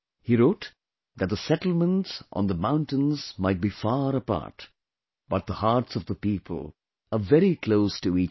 He wrote that the settlements on the mountains might be far apart, but the hearts of the people are very close to each other